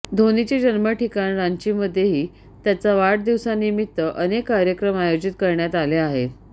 धोनीचे जन्मठिकाण रांचीमध्येही त्याच्या वाढदिवसानिमित्त अनेक कार्यक्रम आयोजित करण्यात आले आहेत